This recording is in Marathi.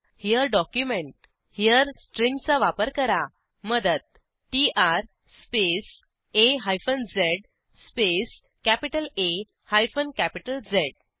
हेरे डॉक्युमेंट हेरे स्ट्रिंगचा वापर करा मदत टीआर स्पेस आ हायफन झ स्पेस कॅपिटल आ हायफन कॅपिटल झ